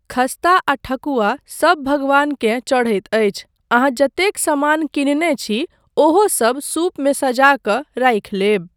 खस्ता आ ठकुआ सब भगवानकेँ चढ़ैत अछि, अहाँ जतेक समान किनने छी ओहोसब सूपमे सजा कऽ राखि लेब।